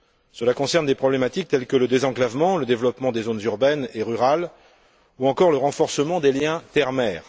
Cela concerne des problématiques telles que le désenclavement, le développement des zones urbaines et rurales, ou encore le renforcement des liens terre mer.